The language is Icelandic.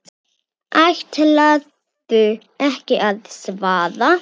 Ætlarðu ekki að svara?